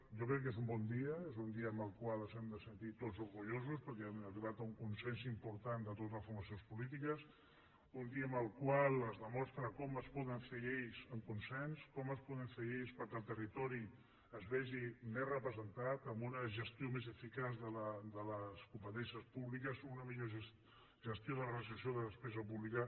jo crec que és un bon dia és un dia en el qual ens hem de sentir tots orgullosos perquè hem arribat a un consens important de totes les formacions polítiques un dia en el qual es demostra com es poden fer lleis amb consens com es poden fer lleis perquè el territori es vegi més representat amb una gestió més eficaç de les competències públiques una millor gestió de la racionalització de la despesa pública